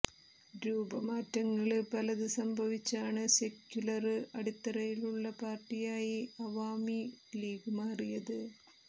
രൂപമാറ്റങ്ങള് പലത് സംഭവിച്ചാണ് സെക്യുലര് അടിത്തറയുള്ള പാര്ട്ടിയായി അവാമി ലീഗ് മാറിയത്